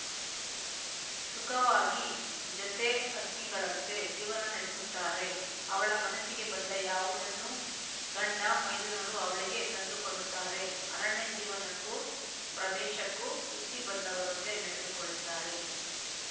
ಸುಖವಾಗಿ ಜೊತೆ ಹಕ್ಕಿಗಳಂತೆ ಜೀವನ ನಡಸುತ್ತಾರೆ ಅವಳ ಮನಸ್ಸಿಗೆ ಬಂದ ಯಾವುದನ್ನೂ ಗಂಡಮೈದುನರು ಅವಳಿಗೆ ತಂದುಕೊಡುತ್ತಾರೆ ಅರಣ್ಯಜೀವನಕ್ಕೂ ಪ್ರದೇಶಕ್ಕೂ ಹುಟ್ಟಿ ಬಂದವರಂತೆ ನಡೆದುಕೊಳ್ಳುತ್ತಾರೆ